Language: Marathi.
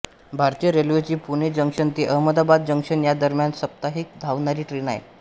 भारतीय रेल्वेची पुणे जंक्शन ते अहमदाबाद जंक्शन या दरम्यान साप्ताहिक धावणारी ट्रेन आहे